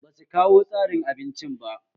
Basu kawo tsarin abincin ba